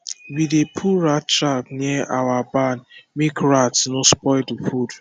we dey put rat trap near our barn make rat no spoil the food